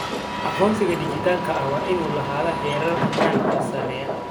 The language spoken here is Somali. Aqoonsiga dhijitaalka ah waa inuu lahaadaa heerar ammaan oo sarreeya.